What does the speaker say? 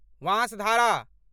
Vansadhara